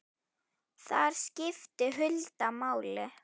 Þar skipti Hulda máli.